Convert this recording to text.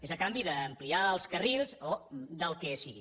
és a canvi d’ampliar els carrils o del que sigui